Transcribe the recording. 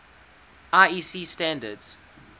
iec standards